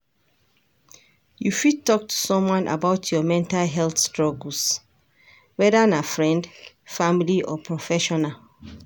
You fit talk to someone about your mental health struggles, whether na friend, family or professional.